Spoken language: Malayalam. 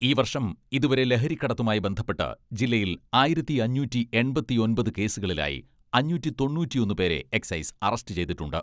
ഈ വർഷം ഇതുവരെ ലഹരിക്കടത്തുമായി ബന്ധപ്പെട്ട് ജില്ലയിൽ ആയിരത്തി അഞ്ഞൂറ്റി എൺപത്തിയൊമ്പത് കേസുകളിലായി അഞ്ഞൂറ്റി തൊണ്ണൂറ്റിയൊന്ന് പേരെ എക്സൈസ് അറസ്റ്റ് ചെയ്തിട്ടുണ്ട്.